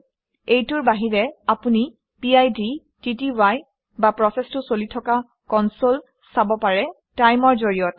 এইটোৰ বাহিৰে আপুনি পিড টিটিআই বা প্ৰচেচটো চলি থকা কনচলে চাব পাৰে TIME অৰ জৰিয়তে